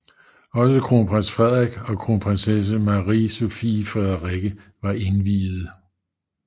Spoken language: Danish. Også kronprins Frederik og kronprinsesse Marie Sophie Frederikke var indviede